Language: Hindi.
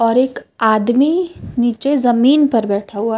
और एक आदमी नीचे जमीन पर बैठा हुआ।